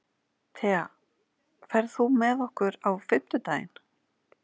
Thea, ferð þú með okkur á fimmtudaginn?